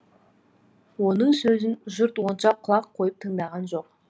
оның сөзін жұрт онша құлақ қойып тыңдаған жоқ